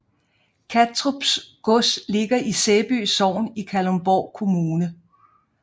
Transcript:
Kattrup Gods ligger i Sæby Sogn i Kalundborg Kommune